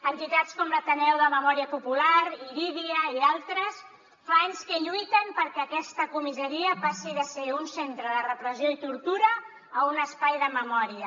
entitats com l’ateneu de memòria popular irídia i d’altres fa anys que lluiten perquè aquesta comissaria passi de ser un centre de repressió i tortura a un espai de memòria